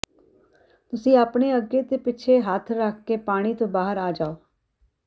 ਤੁਸੀਂ ਆਪਣੇ ਅਗੇ ਤੇ ਪਿੱਛੇ ਹੱਥ ਰਖ ਕੇ ਪਾਣੀ ਤੋਂ ਬਾਹਰ ਆ ਜਾਓ